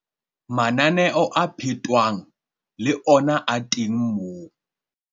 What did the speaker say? Mananeo a phetwang le ona a teng moo.